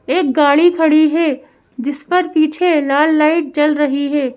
एक गाड़ी खड़ी है जिस पर पीछे लाल लाइट जल रही है।